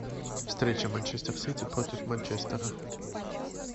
встреча манчестер сити против манчестера